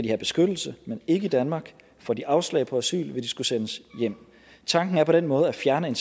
have beskyttelse men ikke i danmark får de afslag på asyl vil de skulle sendes hjem tanken er på den måde at fjerne